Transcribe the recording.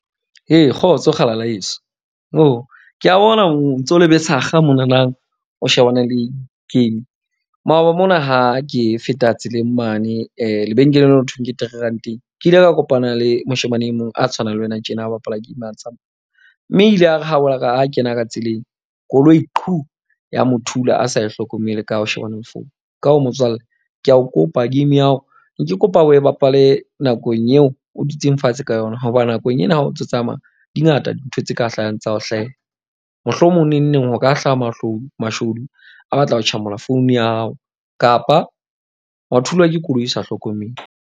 Ee, kgotso kgalala yeso ke a bona o ntso le besakga monanang, o shebane le game. Maoba mona ha ke feta tseleng mane lebenkeleng leo, ho thweng ke three ranteng. Ke ile ka kopana le moshemane e mong a tshwanang le wena tjena. A bapala tsa hao, mme o ile a re ha kena ka tseleng koloi ya mo thula a sa e hlokomele ka o shebane le phone. Ka ho motswallle ke a o kopa game ya hao, ke ne kopa o e bapale nakong eo o dutseng fatshe ka yona. Hoba nakong ena ha o ntso tsamaya di ngata dintho tse ka hlahang tsa ho hlahela. Mohlomong neng neng ho ka hlaha mashodu a batla ho tjhamola phone ya hao, kapa wa thulwa ke koloi o sa hlokomele.